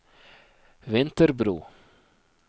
Vinterbro